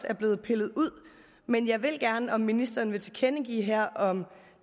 er blevet pillet ud men jeg vil gerne have at ministeren vil tilkendegive her om